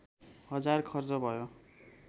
हजार खर्च भयो